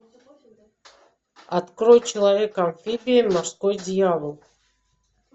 открой человек амфибия морской дьявол